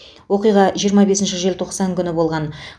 оқиға жиырма бесінші желтоқсан күні болған